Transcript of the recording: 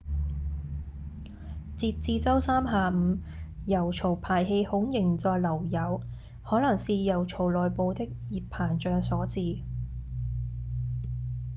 截至週三下午油槽排氣孔仍在漏油可能是油槽內部的熱膨脹所致